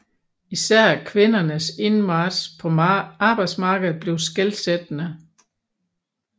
Især kvindernes indmarch på arbejdsmarkedet blev skelsættende